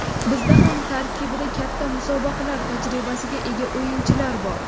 Bizda ham tarkibda katta musobaqalar tajribasiga ega o‘yinchilar bor.